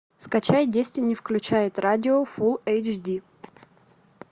скачай дестини включает радио фул эйч ди